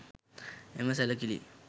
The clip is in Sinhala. එම සැළකිලි